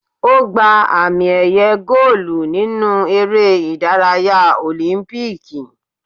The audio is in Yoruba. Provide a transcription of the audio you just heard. Ó gba àmì- ẹ̀yẹ góólù nínú eré ìdárayá Òlímpíìkì.